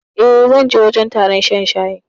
E, zan je wajen taron shan shayin.